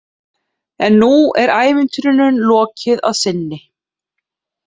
En nú er ævintýrinu lokið að sinni.